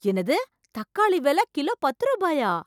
என்னது, தக்காளி விலை கிலோ பத்து ரூபாயா?